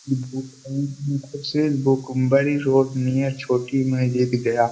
Road near छोटी महजीद गया।